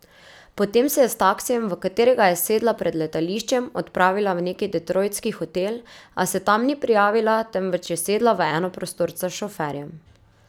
Potem se je s taksijem, v katerega je sedla pred letališčem, odpravila v neki detroitski hotel, a se tam ni prijavila, temveč je sedla v enoprostorca s šoferjem.